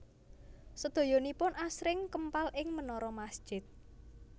Sedayanipun asring kempal ing menara masjid